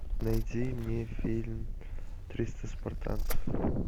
найди мне фильм триста спартанцев